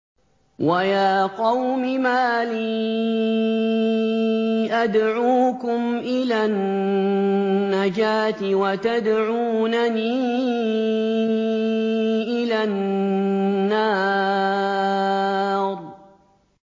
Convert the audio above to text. ۞ وَيَا قَوْمِ مَا لِي أَدْعُوكُمْ إِلَى النَّجَاةِ وَتَدْعُونَنِي إِلَى النَّارِ